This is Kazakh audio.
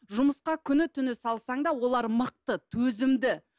жұмысқа күні түні салсаң да олар мықты төзімді